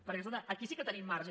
perquè escolta aquí sí que tenim marge